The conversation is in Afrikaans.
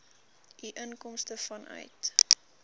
u inkomste vanuit